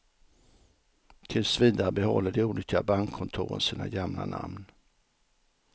Tills vidare behåller de olika bankkontoren sina gamla namn.